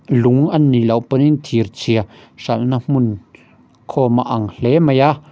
lung anih loh pawh in thirchhia hralhna hmun khawm a ang hle mai a.